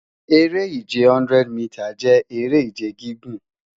Ere-ije 100 mita jẹ ere-ije gigun